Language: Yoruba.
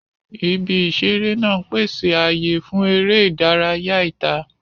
Ibi ìṣeré náà ń pèsè ààyè fún eré ìdárayá ìta.